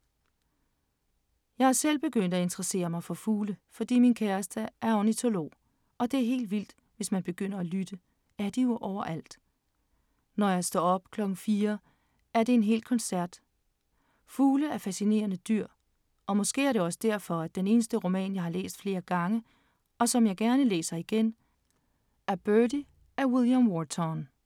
Jeg er selv begyndt at interessere mig for fugle, fordi min kæreste er ornitolog, og det er helt vildt, hvis man begynder at lytte, er de jo overalt! Når jeg står op klokken 4, er det en hel koncert. Fugle er fascinerende dyr, og måske er det også derfor, at den eneste roman, jeg har læst flere gange, og som jeg gerne læser igen, er Birdy af William Wharton.